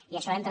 i això entra